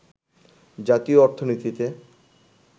জাতীয় অর্থনীতিতে